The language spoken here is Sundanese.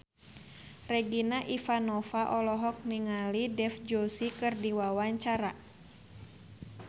Regina Ivanova olohok ningali Dev Joshi keur diwawancara